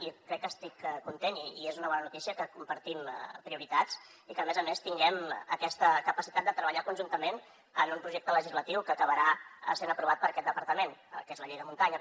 i crec que estic content i és una bona notícia que compartim prioritats i que a més a més tinguem aquesta capacitat de treballar conjuntament en un projecte legislatiu que acabarà sent aprovat per aquest departament que és la llei de muntanya